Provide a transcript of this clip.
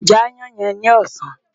Jẹ aáyán yẹn ni ọ̀sán!